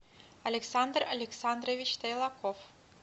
александр александрович тайлаков